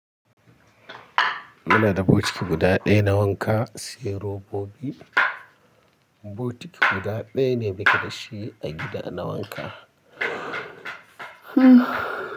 Muna da bokiti guda ɗaya na wanka, sai robobi. Bokiti guda ɗaya ne muka da shi a gida na wanka. Hmm.